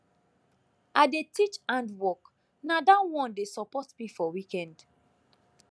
i dey teach hand work na that one dey support me for weekend